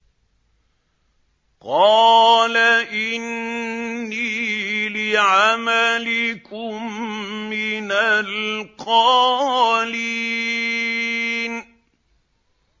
قَالَ إِنِّي لِعَمَلِكُم مِّنَ الْقَالِينَ